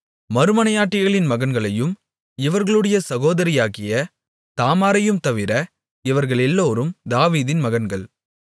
மறுமனையாட்டிகளின் மகன்களையும் இவர்களுடைய சகோதரியாகிய தாமாரையும்தவிர இவர்களெல்லோரும் தாவீதின் மகன்கள்